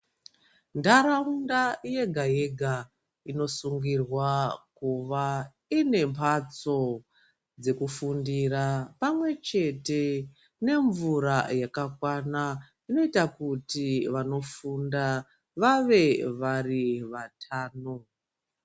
Ntaraunda yega-yega inosungirwa kuva ine mhatso dzekufundira. Pamwe chete nemvura yakakwana zvinoita kuti vanofunda vave vari vatano.